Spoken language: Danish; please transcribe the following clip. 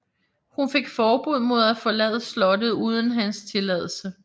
Hun fik forbud mod at forlade slottet uden hans tilladelse